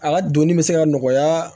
A ka donni bɛ se ka nɔgɔya